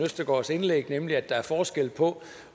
østergaards indlæg nemlig at der er forskel på